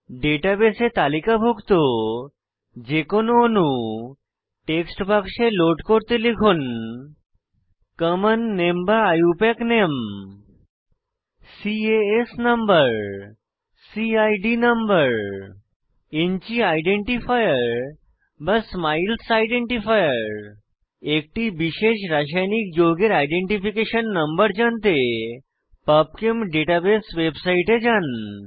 ডাটাবেসে তালিকাভুক্ত যে কোনো অণু টেক্সট বাক্সে লোড করতে লিখুন কমন নামে বা আইইউপিএসি নামে CAS number CID number InChI identifier বা স্মাইলস আইডেন্টিফায়ার একটি বিশেষ রাসায়নিক যৌগের আইডেন্টিফিকেশন নম্বর জানতে পাবচেম ডাটাবেস ওয়েবসাইটে যান